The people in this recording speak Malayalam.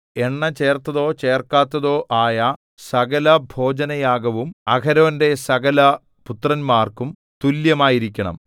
എണ്ണ ചേർത്തതോ ചേർക്കാത്തതോ ആയ സകലഭോജനയാഗവും അഹരോന്റെ സകലപുത്രന്മാർക്കും തുല്യമായിരിക്കണം